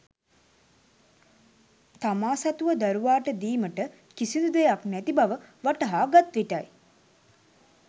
තමා සතුව දරුවාට දීමට කිසිදු දෙයක් නැති බව වටහා ගත් විටයි.